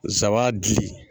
zaba gili.